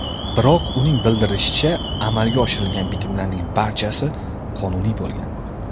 Biroq, uning bildirishicha, amalga oshirilgan bitimlarning barchasi qonuniy bo‘lgan.